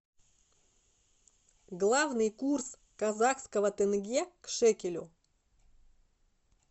главный курс казахского тенге к шекелю